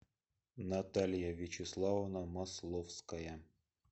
наталья вячеславовна масловская